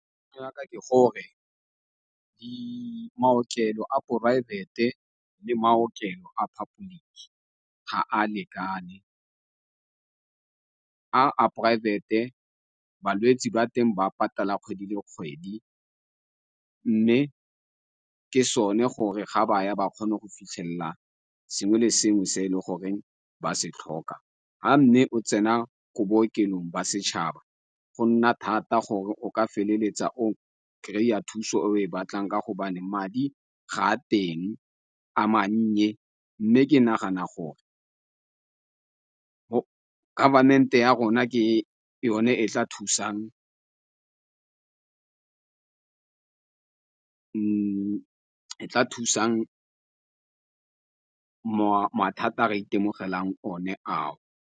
ke gore maokelo a poraefete le maokelo a public ga a lekane, a a poraebete balwetsi ba teng ba patala kgwedi le kgwedi, mme ke sone gore ga baya ba kgone go fitlhelela sengwe le sengwe se e le goreng ba se tlhoka. Ha mme o tsena ko bookelong ba setšhaba, go nna thata gore o ka feleletsa o kry-a thuso e oe batlang, ka gobane madi ga a teng, a mannye, mme ke nagana gore government-e ya rona ke yone e tla thusang mathata a re itemogelang o ne ao.